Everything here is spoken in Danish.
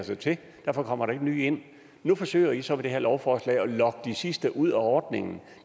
sig til og derfor kommer der ikke nye ind nu forsøger i så med det her lovforslag at lokke de sidste ud af ordningen